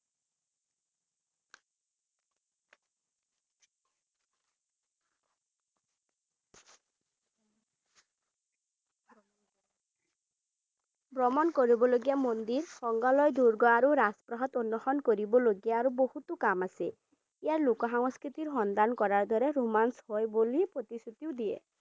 ভ্ৰমণ কৰিবলগীয়া মন্দিৰ সংগ্ৰহালই দুৰ্গ আৰু ৰাজপ্ৰসাদত অন্নষন কৰিবলগীয়া আৰু বহুতো কাম আছে ইয়াৰ লোকসংস্কৃতিৰ সন্ধান কৰাৰ দৰে ৰোমাঞ্চ হয় বুলি প্ৰতিশ্ৰুতি দিয়ে।